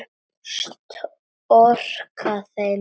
Storka þeim.